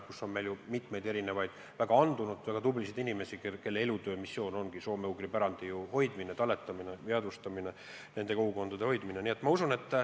Meil on ju mitmeid väga andunud, väga tublisid inimesi, kelle elutöö, missioon ongi soome-ugri pärandi hoidmine, talletamine, jäädvustamine, nende kogukondade hoidmine.